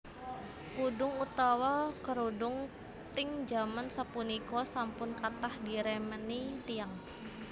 Kudhung utawa kerudung ting jaman sapunika sampun kathah diremeni tiyang